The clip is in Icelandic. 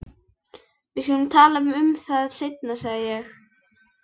Við skulum tala um það seinna sagði ég.